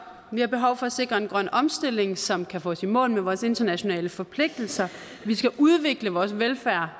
vi har behov for at sikre en grøn omstilling som kan få os i mål med vores internationale forpligtelser vi skal udvikle vores velfærd